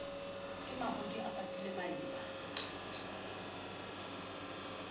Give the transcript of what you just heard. ke mahodi a patile maeba